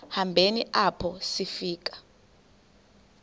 hambeni apho sifika